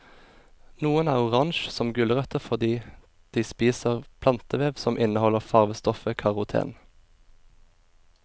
Noen er orange som gulrøtter fordi de spiser plantevev som inneholder farvestoffet karoten.